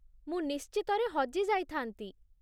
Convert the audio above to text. ମୁଁ ନିଶ୍ଚିତରେ ହଜି ଯାଇଥାନ୍ତି